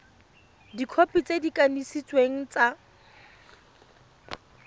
dikhopi tse di kanisitsweng tsa